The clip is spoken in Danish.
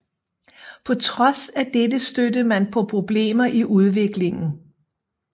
På trods af dette stødte man på problemer i udviklingen